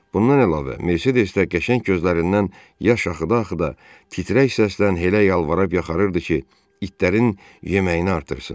Bundan əlavə Mercedesdə qəşəng gözlərindən yaş axıda-axıda titrək səslən Helə yalvarıb yaxarırdı ki, itlərin yeməyini artırsın.